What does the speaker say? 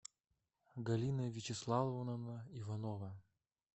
галина вячеславовна иванова